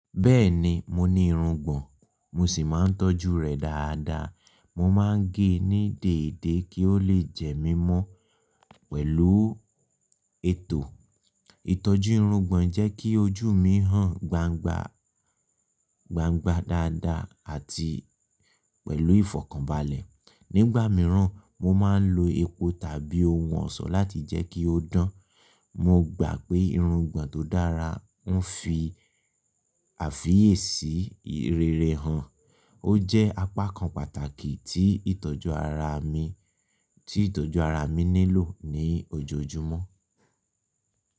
Bẹ́ẹ̀ni, mo ní irungbọ̀n, mo sì máa ń tọ́jú rẹ̀ dáadáa. Mo máa ń gé e ní déédé kí ó lè jẹ mí mọ́ pẹ̀lú ètò. Ìtọ́jú irungbọ̀n jẹ́ kí ojú mi hàn gbangba, gbangba dáadáa àti pẹ̀lú ìfọ̀kànbalẹ̀. Nígbà mìíràn, mo máa ń lo epo tàbí ohun ọ̀ṣọ́ láti jẹ́ kí ó dán. Mo gbà pé irungbọ̀n tó dára ń fi àfiyèsí ìrẹ́rẹ́ hàn. Ó jẹ́ apá kan pàtàkì tí ìtọ́jú ara mi, rí ìtọ́jú ara mi nílò ní ojoojúmọ́.